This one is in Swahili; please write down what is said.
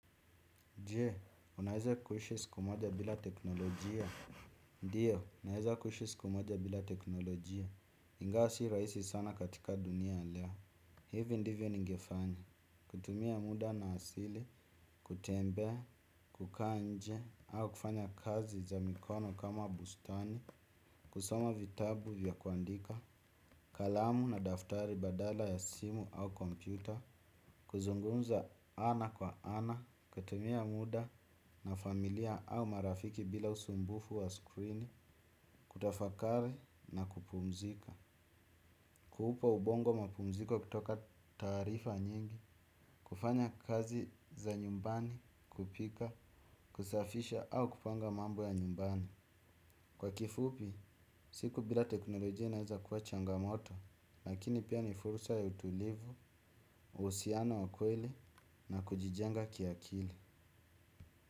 Je, unaeza kuishi siku moja bila teknolojia. Ndiyo, naeza kuishi siku moja bila teknolojia. Ingawa si rahisi sana katika dunia ya leo. Hivi ndivyo ningefanya. Kutumia muda na asili, kutembea, kukaa nje, au kufanya kazi za mikono kama bustani, kusoma vitabu vya kuandika, kalamu na daftari badala ya simu au kompyuta, kuzungumza ana kwa ana, kutumia muda na familia au marafiki bila usumbufu wa screen kutafakari na kupumzika kuupa ubongo mapumziko kutoka taarifa nyingi kufanya kazi za nyumbani kupika, kusafisha au kupanga mambo ya nyumbani. Kwa kifupi, siku bila teknolojia inaeza kuwa changamoto lakini pia ni fursa ya utulivu, uhusiano wa kweli na kujijenga kiakili.